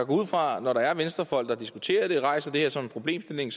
ud fra at når der er venstrefolk der diskuterer det og rejser det her som en problemstilling